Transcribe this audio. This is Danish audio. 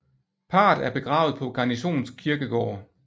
Parret er begravet på Garnisons Kirkegård